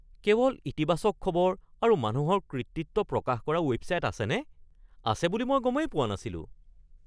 কেৱল ইতিবাচক খবৰ আৰু মানুহৰ কৃতিত্ব প্ৰকাশ কৰা ৱেবছাইট আছেনে? আছে বুলি মই গমেই পোৱা নাছিলো। (ব্যক্তি ২)